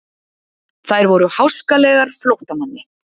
Þær voru háskalegar flóttamanni.